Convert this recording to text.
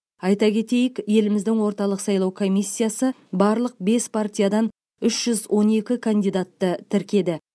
айта кетейік еліміздің орталық сайлау комиссиясы барлық бес партиядан үш жүз он екі кандидатты тіркеді